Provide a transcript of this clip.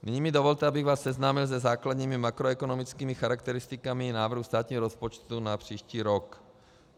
Nyní mi dovolte, abych vás seznámil se základními makroekonomickými charakteristikami návrhu státního rozpočtu na příští rok.